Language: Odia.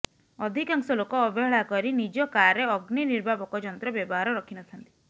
ଅଧିକାଂଶ ଲୋକ ଅବହେଳା କରି ନିଜ କାରରେ ଅଗ୍ନିନିର୍ବାପକ ଯନ୍ତ୍ର ବ୍ୟବହାର ରଖି ନଥାନ୍ତି